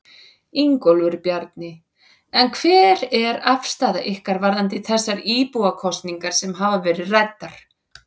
Ingólfur Bjarni: En hver er afstaða ykkar varðandi þessar íbúakosningar sem hafa verið ræddar?